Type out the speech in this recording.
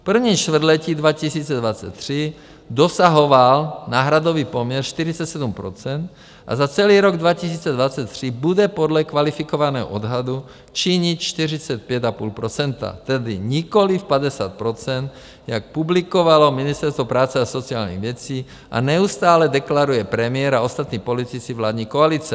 V prvním čtvrtletí 2023 dosahoval náhradový poměr 47 % a za celý rok 2023 bude podle kvalifikovaného odhadu činit 45,5 %, tedy nikoliv 50 %, jak publikovalo Ministerstvo práce a sociálních věcí a neustále deklaruje premiér a ostatní politici vládní koalice.